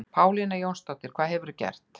Pálína Jónsdóttir, hvað hefurðu gert?